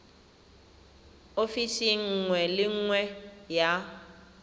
ofising nngwe le nngwe ya